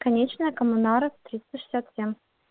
конечная коммунаров триста шестьдесят семь